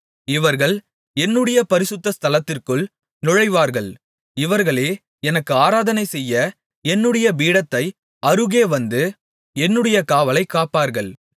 இவர்கள் என்னுடைய பரிசுத்த ஸ்தலத்திற்குள் நுழைவார்கள் இவர்களே எனக்கு ஆராதனை செய்ய என்னுடைய பீடத்தைக் அருகே வந்து என்னுடைய காவலைக் காப்பார்கள்